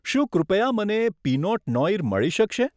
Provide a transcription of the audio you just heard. શું કૃપયા મને પીનોટ નોઈર મળી શકશે?